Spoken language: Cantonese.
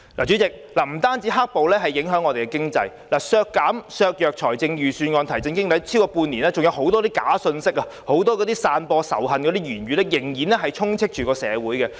主席，"黑暴"不單影響經濟、削弱預算案提振經濟的效力，過去半年多，很多假信息、散播仇恨的言論仍然充斥着社會。